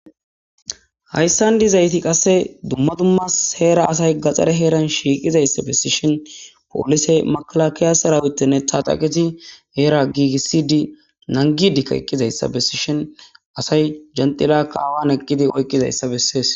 Hayssan dizayti qasse dumma dummas heera asay gaxare heeran shiiqizayssa besishin poolise makalakiyasarawutenne taxaqezi heera giigisi di nangidikka eqqizayssa bessishin asay jenxila kaawan eqqidi oykqizayssa bessees.